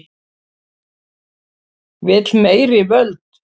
Vill meiri völd